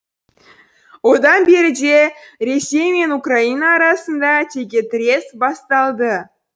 одан беріде ресей мен украина арасында текетірес басталды